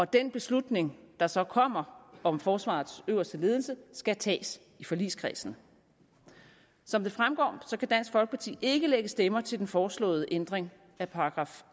den beslutning der så kommer om forsvarets øverste ledelse skal tages i forligskredsen som det fremgår kan dansk folkeparti ikke lægge stemmer til den foreslåede ændring af §